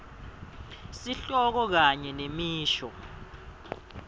sihloko kanye nemisho